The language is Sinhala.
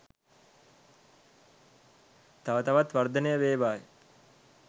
තව තවත් වර්ධනය වේවායි